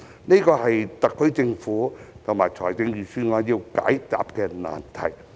這是特區政府和預算案要解答的難題。